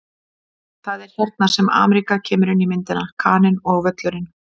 Það er hérna sem Ameríka kemur inn í myndina: Kaninn og Völlurinn.